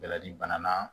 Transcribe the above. Bɛlɛdi bana na